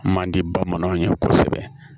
Man di bamananw ye kosɛbɛ